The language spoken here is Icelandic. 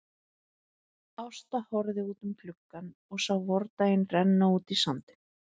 Ásta horfði út um gluggann og sá vordaginn renna út í sandinn.